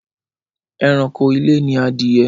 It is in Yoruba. Ẹranko ilé ni adìyẹ